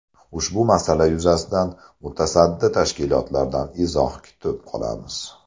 Ushbu masala yuzasidan mutasaddi tashkilotlardan izoh kutib qolamiz.